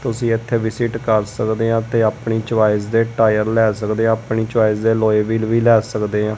ਤੁਸੀ ਇੱਥੇ ਵਿਸਿਟ ਕਰ ਸਕਦੇ ਆਂ ਤੇ ਆਪਣੀ ਚੋਇਸ ਦੇ ਟਾਇਰ ਲੈ ਸਕਦੇ ਆਂ। ਆਪਣੀ ਚੋਇਸ ਦੇ ਅਲੋਏ ਵਿਲ ਵੀ ਲੈ ਸਕਦੇ ਆਂ।